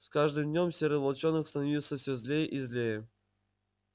с каждым днём серый волчонок становился всё злее и злее